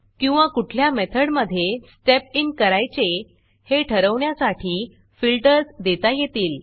किंवा कुठल्या मेथड मधे स्टेप इन करायचे हे ठरवण्यासाठी फिल्टर्स देता येतील